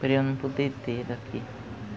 por eu não poder ter daqui.